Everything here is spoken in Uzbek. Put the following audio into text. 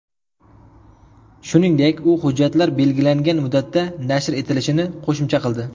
Shuningdek, u hujjatlar belgilangan muddatda nashr etilishini qo‘shimcha qildi.